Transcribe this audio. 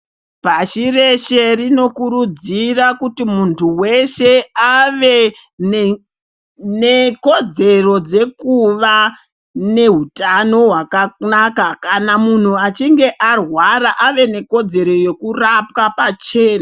Pashi reshe rinokurudzira kuti muntu weshe ave nekodzero dzekuva nehutano hwakanaka. Kana munhu achi nge arwara ave nekodzero yekurapwa pachena.